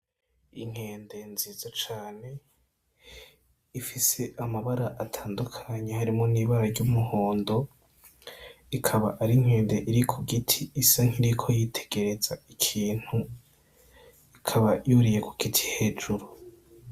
Inkende nziza cane ifise amabara atandukanye, harimwo n'ibara ry'umuhondo, ikaba ari inkende iri ku giti isa nk'iyiriko yitegereza ikintu, ikaba yuriye ku giti hejuru.